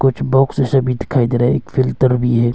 कुछ बॉक्स सभी दिखाई दे रहे हैं एक फिल्टर भी है।